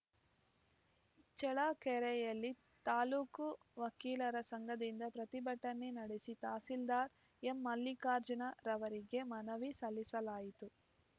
ಚಳ್ಳಕೆರೆಯಲ್ಲಿ ತಾಲೂಕು ವಕೀಲರ ಸಂಘದಿಂದ ಪ್ರತಿಭಟನೆ ನಡೆಸಿ ತಹಸೀಲ್ದಾರ್‌ ಎಂಮಲ್ಲಿಕಾರ್ಜುನ ರವರಿಗೆ ಮನವಿ ಸಲ್ಲಿಸಲಾಯಿತು